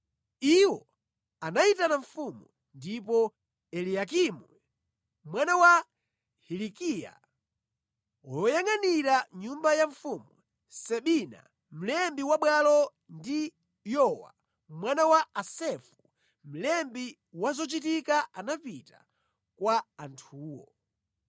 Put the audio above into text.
Iwo anayitana mfumu, ndipo Eliyakimu mwana wa Hilikiya woyangʼanira nyumba ya mfumu, Sebina mlembi wa bwalo ndi Yowa mwana wa Asafu mlembi wa zochitika anapita kwa anthuwo.